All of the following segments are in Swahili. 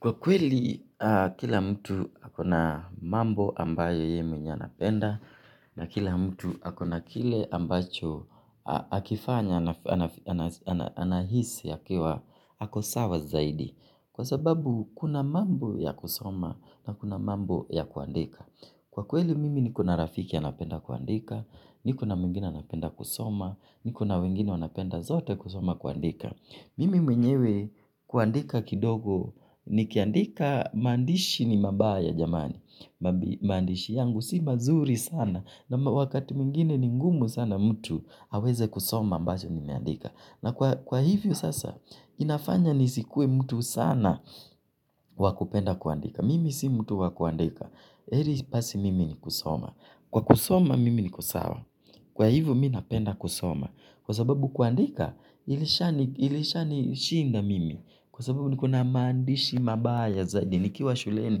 Kwa kweli kila mtu akona mambo ambayo ye mwenye anapenda na kila mtu akona kile ambacho akifanya anahisi akiwa akosawa zaidi. Kwa sababu kuna mambo ya kusoma na kuna mambo ya kuandika. Kwa kweli mimi niko na rafiki anapenda kuandika, niko na muingine anapenda kusoma, nikona wengine wanapenda zote kusoma kuandika. Mimi mwenyewe kuandika kidogo, ni kiandika mandishi ni mabaya jamani, mandishi yangu si mazuri sana, na wakati mingine ni ngumu sana mtu haweze kusoma ambazo ni meandika. Na kwa hivyo sasa, inafanya ni sikuwe mtu sana wakupenda kuandika. Mimi si mtu wakuandika. Eli pasi mimi ni kusoma. Kwa kusoma mimi ni ko sawa. Kwa hivyo mi napenda kusoma. Kwa sababu kuandika, ilishanishinda mimi. Kwa sababu ni ko na mandishi mabaya zaidi. Nikiwa shuleni,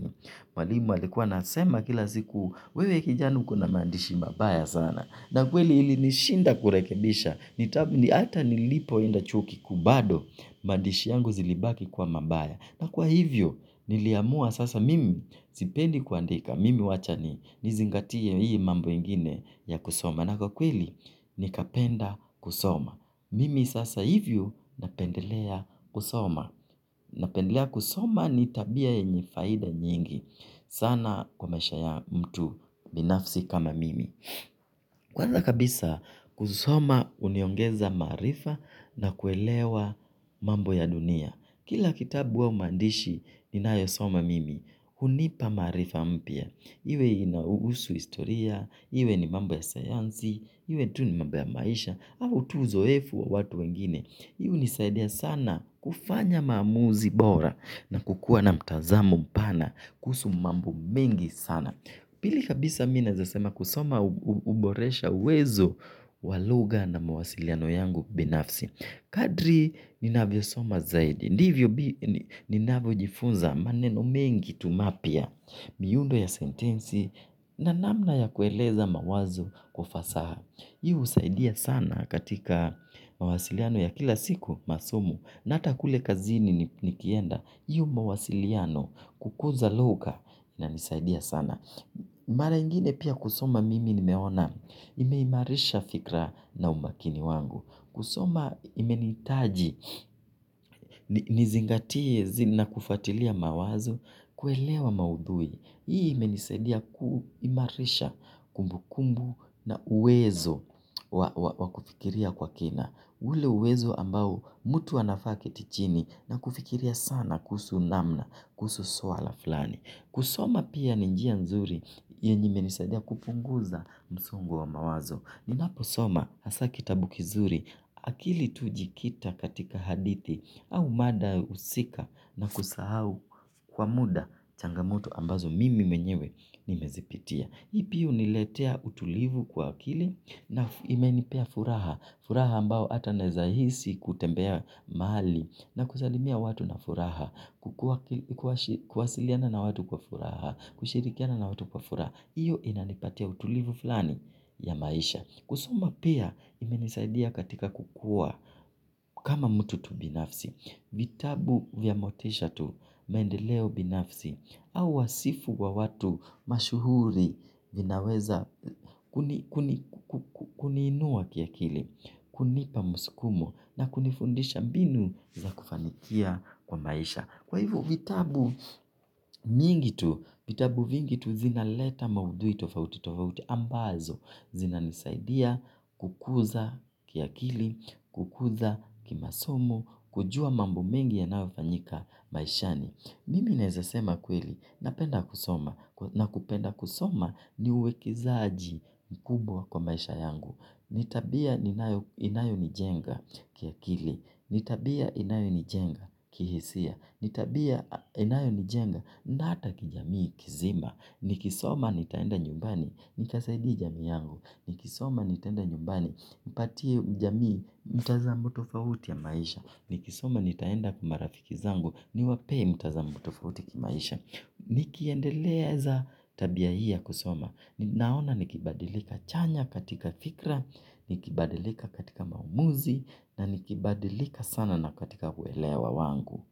mwalimu alikuwa anasema kila siku wewe kijana uko na mandishi mabaya sana. Na kweli ili nishinda kurekebisha, ni ata nilipo enda chuo kiku bado, mandishi yangu zilibaki kuwa mabaya. Na kwa hivyo, niliamua sasa mimi zipendi kuandika, mimi wacha ni nizingatia hii mambo ingine ya kusoma. Na kwa kweli, nikapenda kusoma. Mimi sasa hivyo napendelea kusoma. Napendelea kusoma ni tabia yenye faida nyingi sana kwa maisha ya mtu binafsi kama mimi. Kwanza kabisa kusoma uniongeza marifa na kuelewa mambo ya dunia. Kila kitabu au mandishi nina yosoma mimi hunipa marifa mpia. Iwe inausu historia, iwe ni mambo ya sayanzi, iwe tu ni mambo ya maisha au tu uzoefu wa watu wengine hii hunisaidia sana kufanya mamuzi bora na kukua na mtazamo mpana kuzu mambo mengi sana. Pili kabisa minazasema kusoma uboresha uwezo wa luga na mawasiliano yangu binafsi. Kadri ninavyo soma zaidi. Ndivyo ninavyo jifunza maneno mengi tu mapia miyundo ya sentensi na namna ya kueleza mawazo kwa ufasaha. Hii usaidia sana katika mawasiliano ya kila siku masomo na ata kule kazini ni kienda. Hiyo mawasiliano kukuza luka inanisaidia sana. Mara ingine pia kusoma mimi nimeona imeimarisha fikra na umakini wangu. Kusoma imenitaji nizingatie na kufatilia mawazo kuelewa maudhui. Hii imenisedia kuu imarisha kumbu kumbu na uwezo wa kufikiria kwa kina. Ule uwezo ambao mutu anafa aketi chini na kufikiria sana kuhusu namna kuhusu sua la flani. Kusoma pia ninjia nzuri yenye imenisadia kupunguza msongo wa mawazo. Ninapo soma hasa kitabu kizuri akili tu ujikita katika hadithi au mada usika na kusahau kwa muda changamoto ambazo mimi menyewe nimezipitia. Ipi uniletea utulivu kwa akili na imenipea furaha. Furaha ambao ata neza hisi kutembea mali na kusalimia watu na furaha. Kuwasiliana na watu kwa furaha. Kushirikiana na watu kwa furaha. Iyo inanipatia utulivu fulani ya maisha. Kusoma pia imenisaidia katika kukua kama mtu tu binafsi. Vitabu vya motisha tu maendeleo binafsi. Au wasifu wa watu mashuhuri vinaweza kuninua kiakili. Kunipa musikumu na kunifundisha mbinu za kufanikia kwa maisha. Kwa hivo vitabu mingi tu, vitabu vingitu zinaleta maudui tofauti tofauti ambazo. Zina nisaidia kukuza kiakili, kukuza kimasomo, kujua mambo mengi yanawofanyika maishani. Mimi naezasema kweli, napenda kusoma, na kupenda kusoma ni uwekezaaji mkubwa kwa maisha yangu. Nitabia inayo nijenga kia kili, nitabia inayo nijenga kihisia, nitabia inayo nijenga na hata kijamii kizima. Nikisoma nitaenda nyumbani, nikasaidie jami yangu. Nikisoma nitaenda nyumbani, nipatie jamii, mtazamo tofauti ya maisha. Nikisoma nitaenda kwa marafiki zangu, ni wape mtazamo tofauti ki maisha. Nikiendeleza tabia hii ya kusoma. Naona nikibadilika chanya katika fikra, nikibadilika katika maumuzi, na nikibadilika sana na katika kuelewa wangu.